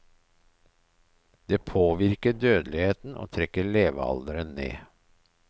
Det påvirker dødeligheten og trekker levealderen ned.